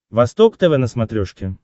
восток тв на смотрешке